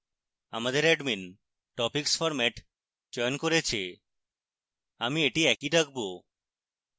আমাদের admin topics format চয়ন করেছে